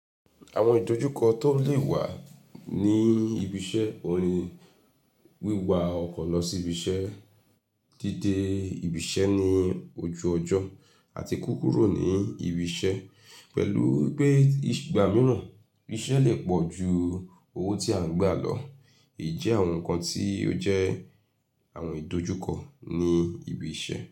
Àwọn ìdojúkọ tó lè wà ní ibi iṣẹ́, oun ni wíwa ọkọ̀ lọ sí ibi iṣẹ́, dídé ibi iṣẹ́ ní ojú ọjọ́ àti kúkúrò ní ibi iṣẹ́ pẹ̀lú pé ìgbà mìíràn iṣẹ́ lè pọ̀ ju owó tí à ń gba lọ. Èyí jẹ́ àwọn nǹkan tí ó jẹ́ àwọn ìdojúkọ ní ibi iṣẹ́